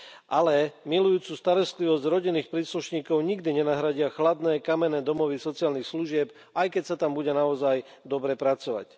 Ale milujúcu starostlivosť rodinných príslušníkov nikdy nenahradia chladné kamenné domovy sociálnych služieb, aj keď sa tam bude naozaj dobre pracovať.